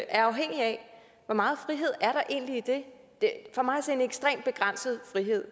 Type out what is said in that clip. er afhængige af hvor meget frihed er der egentlig i det det er for mig at se en ekstremt begrænset frihed